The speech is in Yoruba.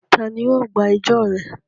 Ta ni yóò gba ẹjọ́ rẹ?